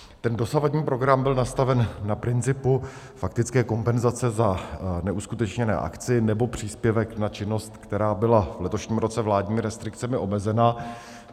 Ten dosavadní program byl nastaven na principu faktické kompenzace za neuskutečněnou akci, nebo příspěvek na činnost, která byla v letošním roce vládními restrikcemi omezena.